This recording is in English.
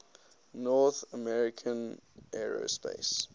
north american aerospace